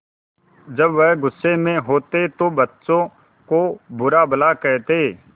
जब वह गुस्से में होते तो बच्चों को बुरा भला कहते